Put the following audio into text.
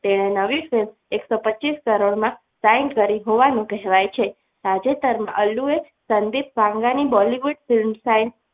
તેને નવી film એકસો પચીસ કરોડમાં sign કરી હોવાનું કહેવાય છે તાજેતરમાં અલ્લુએ સંદીપ બાંધાની Bollywood film